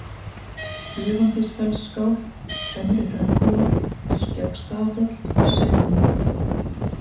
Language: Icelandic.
Dufandisfellsskál, Fremri-Hraunkúla, Skeggstaðafjall, Selhnjúkur